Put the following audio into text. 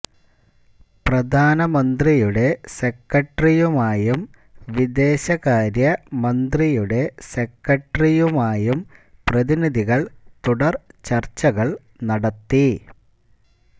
പ്രധാനമന്ത്രിയുടെ സെക്രട്ടറിയുമായും വിദേശകാര്യ മന്ത്രിയുടെ സെക്രട്ടറിയുമായും പ്രതിനിധികള് തുടര് ചര്ച്ചകള് നടത്തി